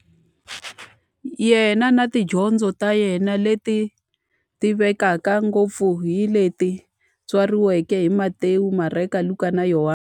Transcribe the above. Yena na tidyondzo ta yena, leti tivekaka ngopfu hi leti tsariweke hi-Matewu, Mareka, Luka, na Yohani.